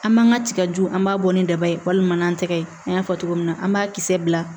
An man ka tiga jugu an b'a bɔ ni daba ye walima n'an tɛgɛ ye an y'a fɔ cogo min na an b'a kisɛ bila